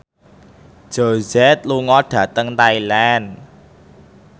Jay Z lunga dhateng Thailand